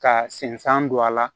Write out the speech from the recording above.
Ka senfan don a la